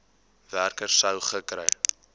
werker sou gekry